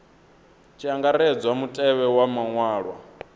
tshi angaredzwa mutevhe wa maṅwalwa